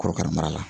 Korokara mara la